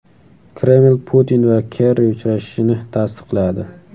Kreml Putin va Kerri uchrashishini tasdiqladi.